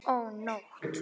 Ó, nótt!